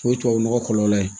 O ye tubabu nɔgɔ kɔlɔlɔ ye